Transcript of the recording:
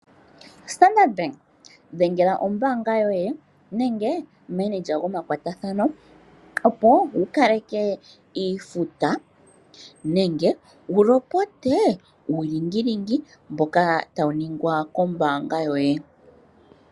Standard bank dhengela ombanga yoye nenge omukondololi gomakwatathano opo wukaleke iifuta nenge wu lopote uulingilingi mboka tawu ningwa kombanga yoye.